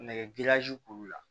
Nɛgɛ k'ulu la